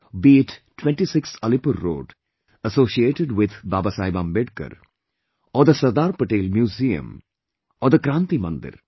Be it 26, Alipur Road, associated with Babasaheb Ambedkar, or the Sardar Patel museum or the Kranti Mandir